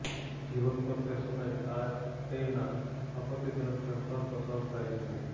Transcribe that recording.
જીવન પર તે સમયે ટાટૈના આપત્તિજનક ફેરફાર પસાર થાય છે